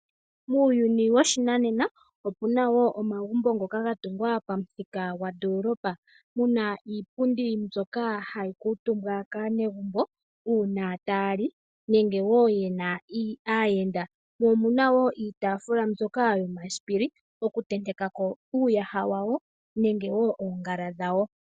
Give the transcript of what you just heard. Muuyuni woshinanena, opu na wo omagumbo ngoka ga tungwa pamuthika gondoolopa. Mu na iipundi mbyoka hayi kuutumbwa kaanegumbo uuna taya li nenge wo ye na aayenda. Omu na wo iitaafula mbyoka yomasipila okutenteka ko uuyaha wawo nenge wo oongala dhawo.